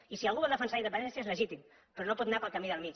i si algú vol defensar la independència és legítim però no pot anar pel camí del mig